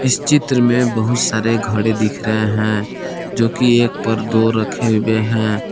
इस चित्र में बहुत सारे घड़े दिख रहे हैं जोकि एक पर दो रखे हुए हैं।